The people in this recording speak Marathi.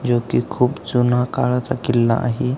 जो की खूप जुना काळाचा किल्ला आहे.